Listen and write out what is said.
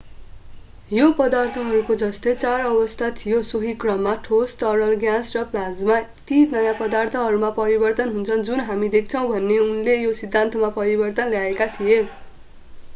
यो पदार्थहरूको जस्तै चार अवस्था थियो सोही क्रममा: ठोस तरल ग्यास र प्लाज्मा। ती नयाँ पदार्थहरूमा परिवर्तन हुन्छन् जुन हामी देख्छौं भन्ने उनले यो पनि सिद्धान्तमा परिवर्तन ल्याएका थिए।